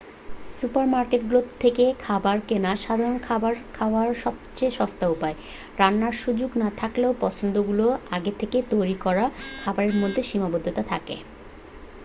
সুপারমার্কেটগুলো থেকে খাবার কেনা সাধারণত খাবার খাওয়ার সবচেয়ে সস্তা উপায় রান্নার সুযোগ না থাকলেও পছন্দগুলো আগে থেকে তৈরি করা খাবারের মধ্যেই সীমাবদ্ধ থাকে